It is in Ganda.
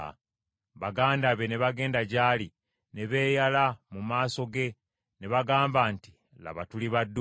Baganda be ne bagenda gy’ali ne beeyala mu maaso ge ne bagamba nti, “Laba, tuli baddu bo.”